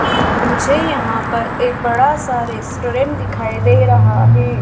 मुझे यहाँ पर एक बड़ा सा रेस्टोरेंट दिखाइ दे रहा है।